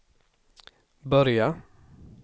börja